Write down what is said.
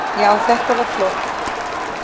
Já, þetta var flott.